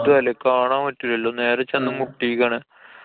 ത്തുട്ടല്ലേ? കാണാന്‍ പറ്റൂലല്ലോ. നേരെ ചെന്ന് മുട്ടീക്കാണ്.